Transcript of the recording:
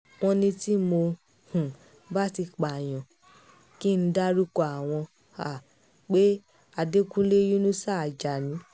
wọ́n ní tí mo um bá ti pààyàn kí n dárúkọ àwọn um pé adẹ̀dọ́kùn yínusà ájánì